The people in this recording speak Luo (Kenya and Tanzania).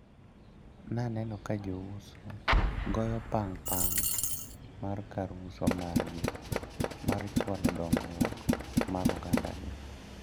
Naneno ka jouso goyo pang` pang` mar kar uso margi, mar chwalo dongruok mar ogandagi.